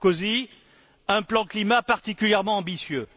M. Sarkozy, un plan climat particulièrement ambitieux.